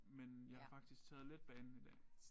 Men jeg har faktisk taget letbanen i dag